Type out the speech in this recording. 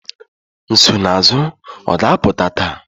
Nsonaazụ ọ ga-apụta taa?